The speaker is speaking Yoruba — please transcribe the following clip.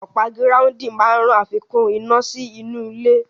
Ọ̀pá gíráúndìn máa ràn àfikún iná sí inú ilẹ̀